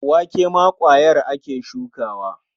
Wake ma ƙwayar ake shukawa.